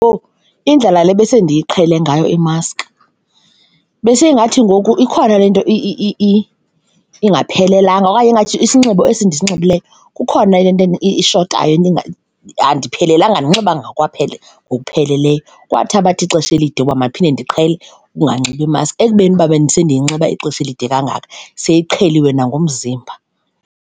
Owu! Indlela le besendiyiqhele ngayo imaski, beseyingathi ngoku ikhona le nto ingaphelelanga okanye ingathi isinxibo esi ndisinxibileyo kukhona le nto ishotayo andiphelanga, andinxibanga ngokokwaphela, ngokupheleleyo. Kwathabatha ixesha elide ukuba madiphinde ndiqhele ukunganxibi imaski, ekubeni uba bendisendiyinxiba ixesha elide kangaka seyiqheliwe nangumzimba.